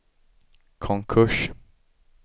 konkurs